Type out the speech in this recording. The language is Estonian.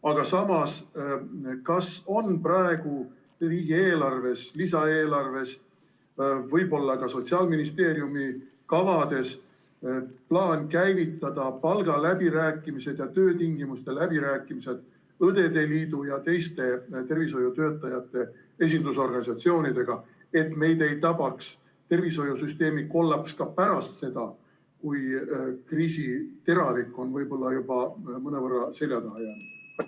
Aga samas, kas on praegu riigieelarves, lisaeelarves, võib-olla ka Sotsiaalministeeriumi kavades plaan käivitada palgaläbirääkimised ja töötingimuste läbirääkimised Eesti Õdede Liidu ja teiste tervishoiutöötajate esindusorganisatsioonidega, et meid ei tabaks tervishoiusüsteemi kollaps ka pärast seda, kui kriisi teravik on võib-olla juba mõnevõrra selja taha jäänud?